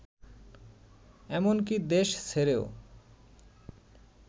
এমনকি দেশ ছেড়েও